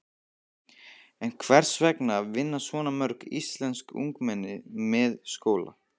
En hvers vegna vinna svona mörg íslensk ungmenni með skóla?